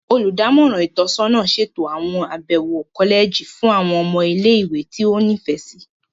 Olùdámọ̀ràn itọsọna ṣeto awọn abẹwo kọlẹji fún àwọn ọmọ ile-iwe ti o nifẹ si.